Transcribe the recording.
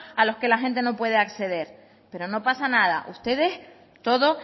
a los que la gente no puede acceder pero no pasa nada ustedes todo